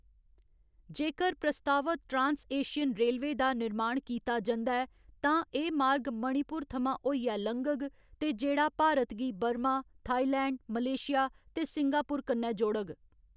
जेकर प्रस्तावत trans Asian railway दा निर्माण कीता जंदा ऐ, तां एह्‌‌ मार्ग मणिपुर थमां होइयै लंघग ते जेह्‌‌ड़ा भारत गी बर्मा, थाईलैंड, मलेशिया ते सिंगापुर कन्नै जोड़ग।